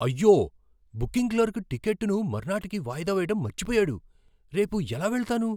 అయ్యో! Booking clerk టికెట్టును మర్నాటికి వాయిదా వేయడం మర్చిపోయాడు. రేపు ఎలా వెళతాను?